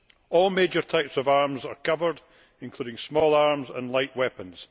All major types of arms are covered, including small arms and light weapons.